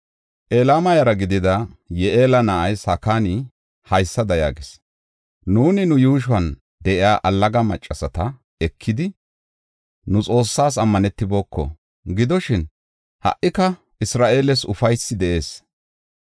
Elama yara gidida Yi7eela na7ay Sakan haysada yaagis; “Nuuni nu yuushon de7iya allaga maccasata ekidi, nu Xoossaas ammanetiboko. Gidoshin, ha77ika Isra7eeles ufaysi de7ees.